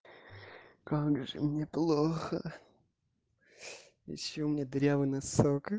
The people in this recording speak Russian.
как же мне плохо ещё у меня дырявый носок